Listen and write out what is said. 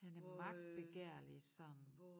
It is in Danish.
Han er magtbegærlig sådan